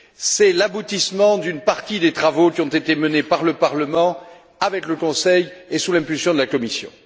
C'est l'aboutissement d'une partie des travaux qui ont été menés par le Parlement, avec le Conseil et sous l'impulsion de la Commission.